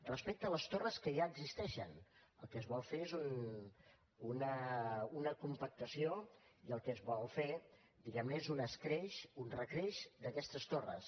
respecte a les torres que ja existeixen el que es vol fer és una compactació i el que es vol fer diguem ne és un escreix un recreix d’aquestes torres